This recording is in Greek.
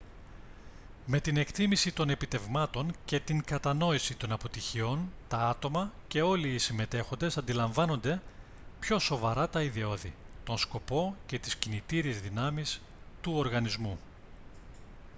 με την εκτίμηση των επιτευγμάτων και την κατανόηση των αποτυχιών τα άτομα και όλοι οι συμμετέχοντες αντιλαμβάνονται πιο σοβαρά τα ιδεώδη τον σκοπό και τις κινητήριες δυνάμεις του οργανισμού